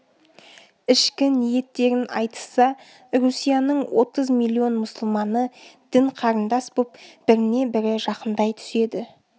ішкі ниеттерін айтысса русияның отыз миллион мұсылманы дін-қарындас боп біріне-бірі жақындай түседі